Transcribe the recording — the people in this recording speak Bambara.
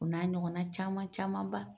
O n'a ɲɔgɔnna caman caman ban